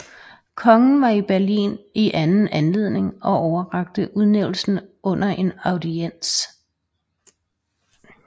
Kongen var i Berlin i anden anledning og overrakte udnævnelsen under en audiens